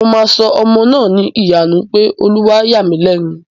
Mo máa sọ ọmọ náà ní Ìyanu nítorí pé Ọlọ́run yà mí lẹ́nu